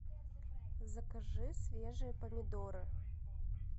закажи свежие помидоры